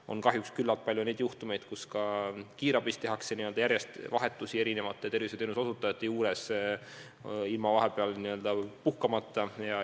On kahjuks teada, et küllalt palju tehakse ka kiirabis järjest vahetusi erinevate tervishoiuteenuse osutajate juures, ilma vahepeal puhkamata.